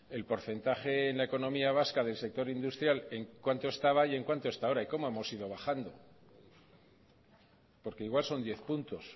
el porcentaje en la economía vasca del sector industrial en cuánto estaba y en cuánto está ahora y cómo hemos ido bajando porque igual son diez puntos